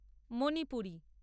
Manipuri